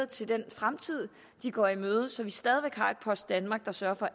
til den fremtid de går i møde så vi stadig væk har et post danmark der sørger for